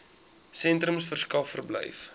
sentrums verskaf verblyf